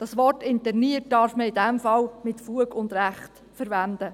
Das Wort «interniert» darf man in diesem Fall mit Fug und Recht verwenden.